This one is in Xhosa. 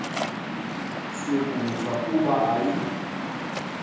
sokufa kuba ayi